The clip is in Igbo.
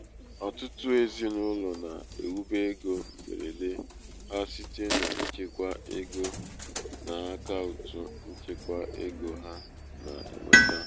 ọtụtụ ezinaụlọ na-ewube ego mgberede ha site n'ichekwa ego n'akaụtụ nchekwa ego ha na-enweta.